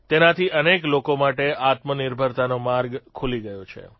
તેનાથી અનેક લોકો માટે આત્મનિર્ભરતાનો માર્ગ ખૂલી ગયો છે